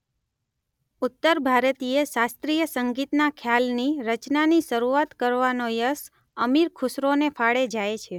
ઉત્તર ભારતીય શાસ્ત્રીય સંગીતના ખ્યાલની રચનાની શરૂઆત કરવાનો યશ અમીર ખુશરોને ફાળે જાય છે.